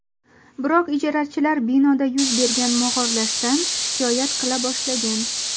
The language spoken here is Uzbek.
Biroq ijarachilar binoda yuz bergan mog‘orlashdan shikoyat qila boshlagan.